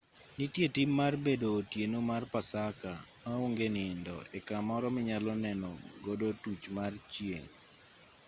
nitie tim mar bedo otieno mar pasaka ma onge nindo e kamoro minyalo neno godo tuch mar chieng'